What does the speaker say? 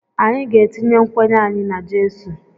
Anyị ga-etinye nkwenye anyị n’jesu